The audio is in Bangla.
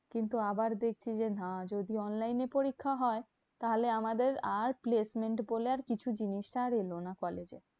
কিন্তু আবার দেখছি যে না যদি online এ পরীক্ষা হয়, তাহলে আমাদের আর placement বলে আর কিছু জিনিসটা আর এলো না কলেজে।